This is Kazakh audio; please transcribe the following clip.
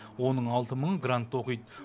оның алты мыңы грантта оқиды